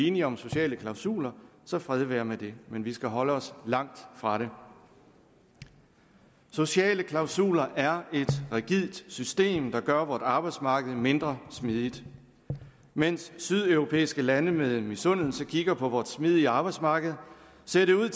enige om sociale klausuler så fred være med det men vi skal holde os langt fra det sociale klausuler er et rigidt system der gør vort arbejdsmarked mindre smidigt mens sydeuropæiske lande med misundelse kigger på vores smidige arbejdsmarked ser det ud